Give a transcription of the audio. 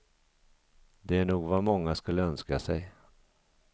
Det är nog vad många skulle önska sig.